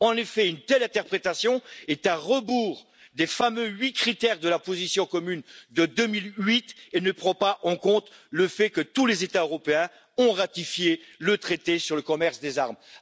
En effet, une telle interprétation est à rebours des fameux huit critères de la position commune de 2008 et ne prend pas en compte le fait que tous les États européens ont ratifié le traité sur le commerce des armes.